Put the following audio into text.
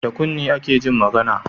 Da kunne ake Jin magAna